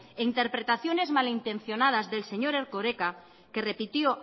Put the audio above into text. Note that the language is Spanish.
e interpretaciones malintencionadas del señor erkoreka que repitió